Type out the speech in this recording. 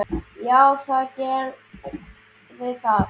Já, það gerir það.